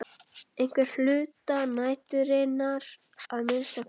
Einhvern hluta næturinnar að minnsta kosti.